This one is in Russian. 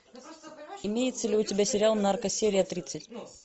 имеется ли у тебя сериал нарко серия тридцать